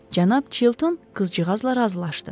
Cənab Çilton qızcığazla razılaşdı.